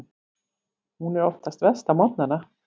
Hún er oftast verst á morgnana.